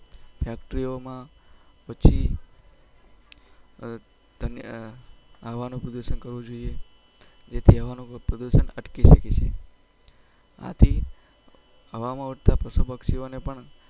Factory ઓ માં પછી તમે હ હવાનું પ્રદુસન કરવું જોઈએ જેથી હવાનું પ્રદુસન અટકી સકે છે આથી હવામાં ઉડતા પશું પક્ષી ઓને પણ